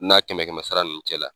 Na kɛmɛ kɛmɛ sara nunnu cɛla.